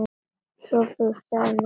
SOPHUS: Það er nú svona.